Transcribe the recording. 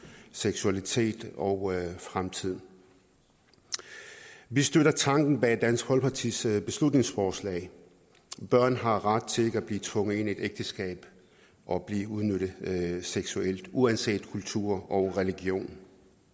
seksualitet og fremtid vi støtter tanken bag dansk folkepartis beslutningsforslag børn har ret til ikke at blive tvunget ind i et ægteskab og blive udnyttet seksuelt uanset kultur og religion